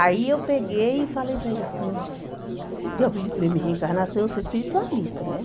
Aí eu peguei e falei, para ele assim, eu acredito mesmo em reencarnação, eu sou espiritualista, né?